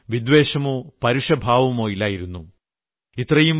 അവർക്ക് ആരോടും വിദ്വേഷമോ പരുഷഭാവമോ ഇല്ലായിരുന്നു